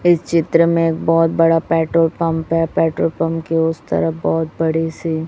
इस चित्र में एक बहोत बड़ा पेट्रोल पंप है पेट्रोल पंप के उस तरफ बहोत बड़ी सी--